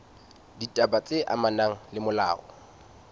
ditaba tse amanang le molao